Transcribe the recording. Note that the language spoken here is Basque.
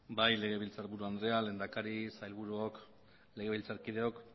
bai legebiltzarburu andrea lehendakari sailburuok legebiltzarkideok